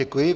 Děkuji.